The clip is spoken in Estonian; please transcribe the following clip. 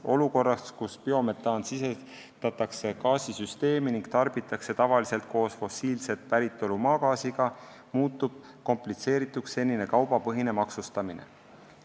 Olukorras, kus maagaasi kvaliteedinõuetele vastav biometaan sisestatakse gaasisüsteemi ning tarbitakse tavaliselt koos fossiilset päritolu maagaasiga, muutub komplitseerituks senine kaubapõhine maksustamine.